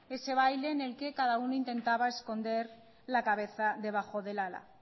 ese baile en el que cada uno intentaba esconder la cabeza debajo del ala